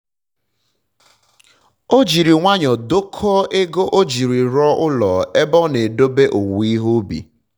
o jiri nwayọ dokọọ ego o jiri rụọ ụlọ ebe a na-edobe owuwe ihe ubi